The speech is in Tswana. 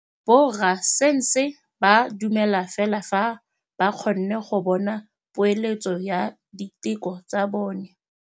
Borra saense ba dumela fela fa ba kgonne go bona poeletsô ya diteko tsa bone.